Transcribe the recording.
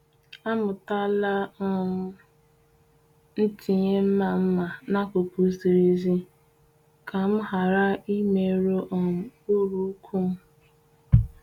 Amụtala um m itinye mma mma n'akụkụ ziri ezi ka m ghara imerụ um uru ụkwụ m.